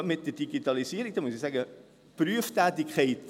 Gerade mit der Digitalisierung muss ich sagen: